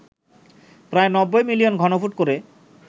প্রায় ৯০ মিলিয়ন ঘনফুট করে